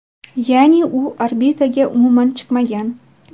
Ya’ni u orbitaga umuman chiqmagan.